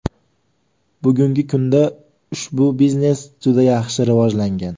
Bugungi kunda, ushbu biznes juda yaxshi rivojlangan.